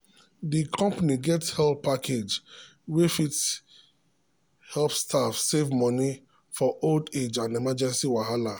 di company get help package wey fit help staff save money for old age and emergency wahala.